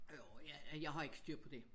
Jo ja jeg har ikke styr på det